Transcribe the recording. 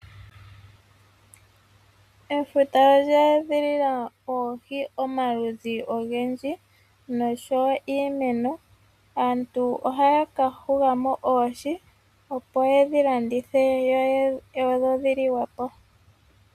Ofuta olya edhilila oohi omaludhi ogendji noshowo iimeno. Aantu ohaya ka hugamo oohi opo yedhi landithe dho dhi liwepo .